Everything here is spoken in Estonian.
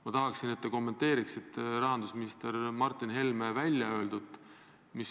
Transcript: Ma tahaksin, et te kommenteeriksite rahandusminister Martin Helme väljaöeldut.